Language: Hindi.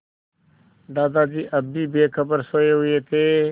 दादाजी अब भी बेखबर सोये हुए थे